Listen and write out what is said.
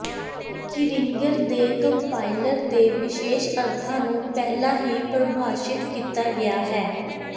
ਕੀਰਿੰਗਰ ਦੇ ਕੰਪਾਇਲਰ ਦੇ ਵਿਸ਼ੇਸ਼ ਅਰਥਾਂ ਨੂੰ ਪਹਿਲਾਂ ਹੀ ਪ੍ਰਭਾਸ਼ਿਤ ਕੀਤਾ ਗਿਆ ਹੈ